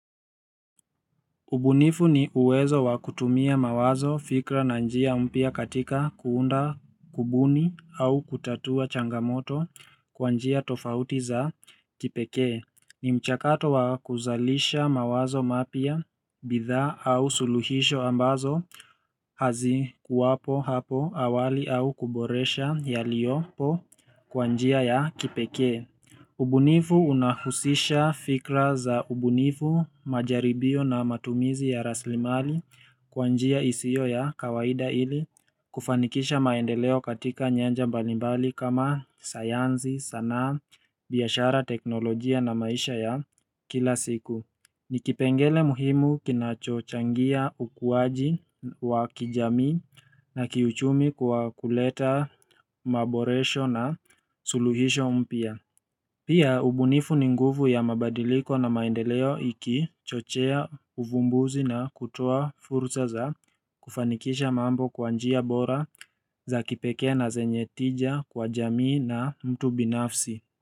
Ubunifu ni uwezo wa kutumia mawazo, fikra na njia mpya katika kuunda, kubuni au kutatua changamoto kwa njia tofauti za kipekee. Ni mchakato wa kuzalisha mawazo mapya, bidhaa au suluhisho ambazo hazikuwapo hapo awali au kuboresha yaliyopo kwa njia ya kipekee. Ubunifu unahusisha fikra za ubunifu, majaribio na matumizi ya raslimali kwa njia isiyo ya kawaida ili kufanikisha maendeleo katika nyanja mbalimbali kama sayansi, sanaa, biashara teknolojia na maisha ya kila siku. Ni kipengele muhimu kinachochangia ukuwaji wa kijamii na kiuchumi kwa kuleta maboresho na suluhisho mpya. Pia ubunifu ni nguvu ya mabadiliko na maendeleo ikichochea uvumbuzi na kutoa fursa za kufanikisha mambo kwa njia bora za kipekee na zenye tija kwa jamii na mtu binafsi.